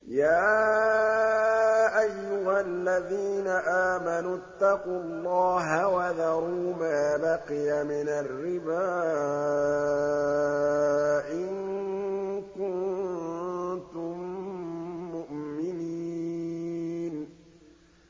يَا أَيُّهَا الَّذِينَ آمَنُوا اتَّقُوا اللَّهَ وَذَرُوا مَا بَقِيَ مِنَ الرِّبَا إِن كُنتُم مُّؤْمِنِينَ